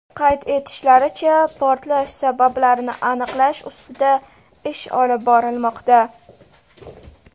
Qayd etishlaricha, portlash sabablarini aniqlash ustida ish olib borilmoqda.